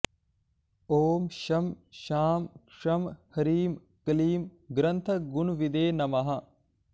ॐ शं शां षं ह्रीं क्लीं ग्रन्थगुणविदे नमः